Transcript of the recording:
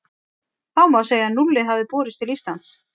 Þá má segja að núllið hafi borist til Íslands.